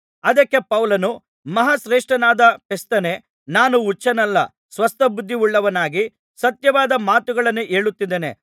ಅದಕ್ಕೆ ಪೌಲನು ಮಹಾ ಶ್ರೇಷ್ಠನಾದ ಫೆಸ್ತನೇ ನಾನು ಹುಚ್ಚನಲ್ಲ ಸ್ವಸ್ಥಬುದ್ಧಿಯುಳ್ಳವನಾಗಿ ಸತ್ಯವಾದ ಮಾತುಗಳನ್ನೇ ಹೇಳುತ್ತಿದ್ದೇನೆ